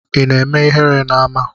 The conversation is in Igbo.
Ina eme ihere na ama?